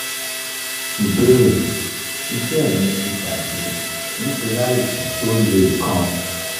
ìbéèrè: iṣẹ́ mi ti bajẹ́ nitori aìsàn tó le kan